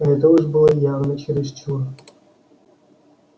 это уж было явно чересчур